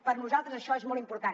per nosaltres això és molt important